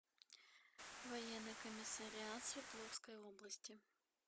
военный комиссариат свердловской области